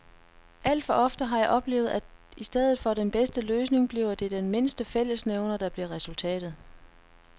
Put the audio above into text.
Alt for ofte har jeg oplevet, at i stedet for den bedste løsning bliver det den mindste fællesnævner, der bliver resultatet.